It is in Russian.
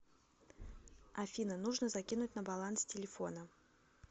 афина нужно закинуть на баланс телефона